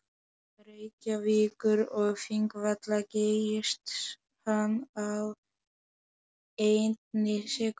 Reykjavíkur og Þingvalla geysist hann á einni sekúndu.